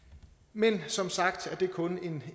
men som sagt er det kun er en